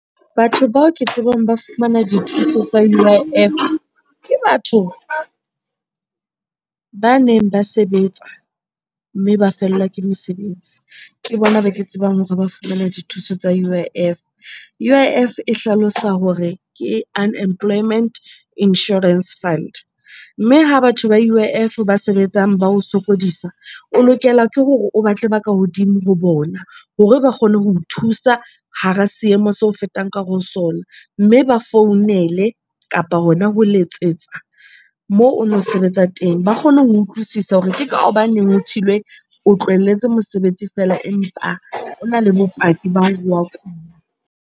Batho bao ke tsebang ba fumana dithuso tsa U_I_F, ke batho ba neng ba sebetsa mme ba fellwa ke mosebetsi. Ke bona ba ke tsebang hore ba fumana dithuso tsa U_I_F. U_I_F e hlalosa hore ke Unemployment Insurance Fund, mme ha batho ba U_I_F ba sebetsang ba o sokodisa. O lokela ke hore o batle ba ka hodimo ho bona hore ba kgone ho o thusa hara seemo seo o fetang ka hare ho sona. Mme ba founele kapa hona ho letsetsa moo ono sebetsa teng ba kgone ho utlwisisa hore ke ka hobaneng ho thilwe o tlohelletse mosebetsi fela empa ona le bopaki ba hore wa kula.